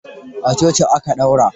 A coci aka daura.